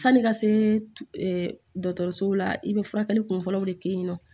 Sanni i ka se dɔgɔtɔrɔsow la i be furakɛli kun fɔlɔw de kɛ yen nɔ